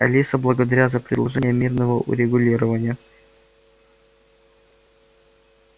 алиса благодаря за предложение мирного урегулирования